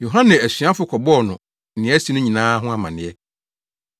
Yohane asuafo kɔbɔɔ no nea asi no nyinaa ho amanneɛ.